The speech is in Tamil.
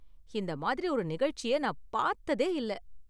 இந்த மாதிரி ஒரு நிகழ்ச்சியை நான் பார்த்ததே இல்ல